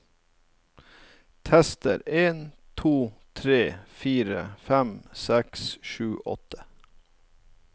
Tester en to tre fire fem seks sju åtte